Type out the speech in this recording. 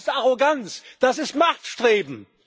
Das ist Arroganz, das ist Machtstreben!